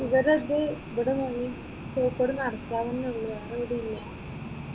ഇവരുടെ ഇത് ഇവിടെ കോഴിക്കോട് നടക്കാവ് തന്നെ ഉള്ളു? വേറെ എവിടെയും ഇല്ല?